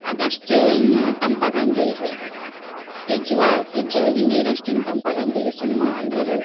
ಅದಷ್ಟು ಏನ್ ತಂಪ ಆಗಾಂಗಿಲ್ರಿ. fridge fridge ಒಳಗಿನ ನೀರ್ ಅಷ್ಟೇನ್ ತಂಪ್ ಆಗಾಂಗಿಲ್ರಿ ಸುಮ್ಮ ಅಂದ್ರ ಅದು.